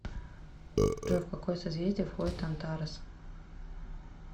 джой в какое созвездие входит антарес